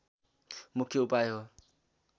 मुख्य उपाय हो